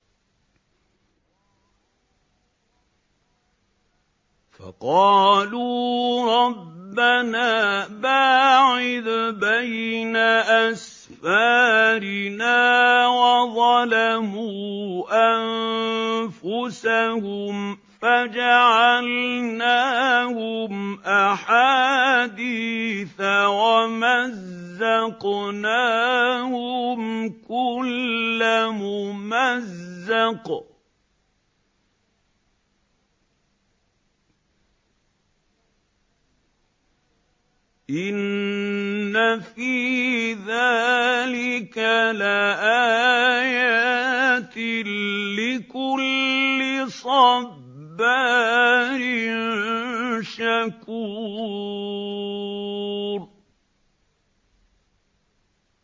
فَقَالُوا رَبَّنَا بَاعِدْ بَيْنَ أَسْفَارِنَا وَظَلَمُوا أَنفُسَهُمْ فَجَعَلْنَاهُمْ أَحَادِيثَ وَمَزَّقْنَاهُمْ كُلَّ مُمَزَّقٍ ۚ إِنَّ فِي ذَٰلِكَ لَآيَاتٍ لِّكُلِّ صَبَّارٍ شَكُورٍ